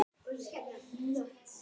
Annað öngvit